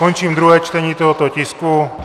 Končím druhé čtení tohoto tisku.